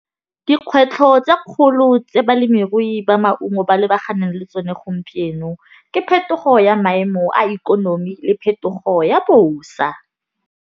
Dikgwetlho tsa kgolo tse balemirui ba maungo ba lebaganeng le tsone gompieno, ke phetogo ya maemo a ikonomi le phetogo ya bosa.